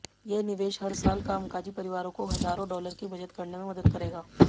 ये निवेश हर साल कामकाजी परिवारों को हजारों डॉलर की बचत करने में मदद करेगा